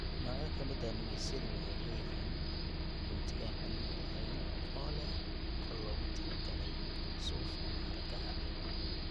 Noocyo ka mid ah nigisyadu waxay leeyihiin gunti aan biyuhu lahayn oo leh qol loogu talo galay suuf ama xargaha.